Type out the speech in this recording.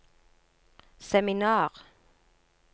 seminar